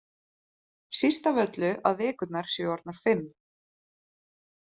Síst af öllu að vikurnar séu orðnar fimm.